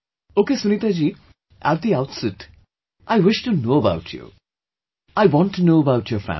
Okay Sunita ji, at the outset, I wish to know about you; I want to know about your family